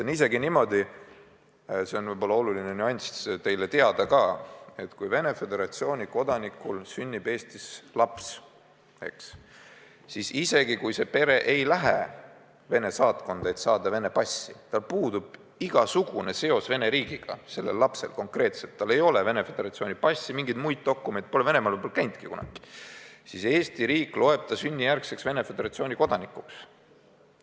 On isegi niimoodi – see oluline nüanss on teile võib-olla teada –, et kui Venemaa Föderatsiooni kodanikul sünnib Eestis laps, siis isegi kui see pere ei lähe Venemaa saatkonda, et saada Vene passi, sel lapsel puudub igasugune seos Vene riigiga, tal ei ole Venemaa Föderatsiooni passi, mingeid muid dokumente, ta pole Venemaal kunagi käinudki, siis Eesti riik loeb ta sünnijärgseks Venemaa Föderatsiooni kodanikuks.